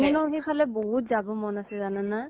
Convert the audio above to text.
মোৰ নহয় সিফালে বহুত যাব মন আছে, জানানা ?